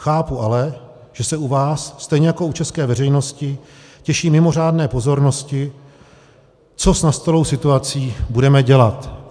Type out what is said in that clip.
Chápu ale, že se u vás, stejně jako u české veřejnosti, těší mimořádné pozornosti, co s nastalou situací budeme dělat.